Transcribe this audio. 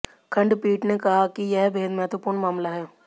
खंडपीठ ने कहा कि यह बेहद महत्वपूर्ण मामला है